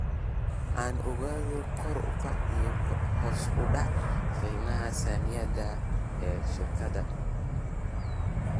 aan ogaado kor u kaca iyo hoos u dhaca qiimaha saamiyada ee shirkadan